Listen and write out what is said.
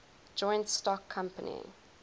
joint stock company